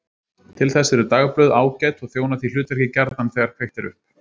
Til þess eru dagblöð ágæt og þjóna því hlutverki gjarnan þegar kveikt er upp.